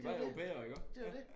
Det jo dét det jo dét